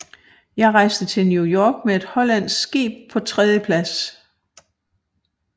Jeg reiste til New York med et hollandsk Skib paa 3dje Plads